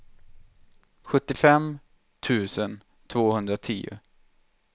sjuttiofem tusen tvåhundratio